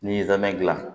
N'i ye zɔmɛ dilan